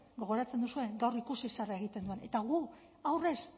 gogoratzen duzue gaur ikusi zer egiten duen eta gu aurrez